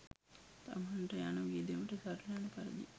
තමන්ට යන වියදමට සරිලන පරිදි